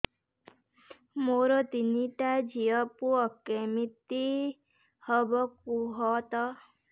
ମୋର ତିନିଟା ଝିଅ ପୁଅ କେମିତି ହବ କୁହତ